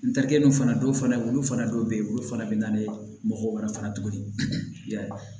N terikɛw fana dɔw fana olu fana dɔw bɛ yen olu fana bɛ na ni mɔgɔ wɛrɛ fana ye tuguni yan